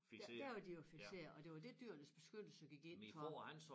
Der der er de jo fikserede og det var det Dyrenes Beskyttelse gik ind for